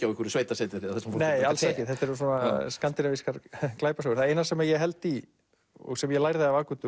á einhverju sveitasetri nei alls ekki þetta eru skandinavískar glæpasögur það eina sem ég held í og sem ég lærði af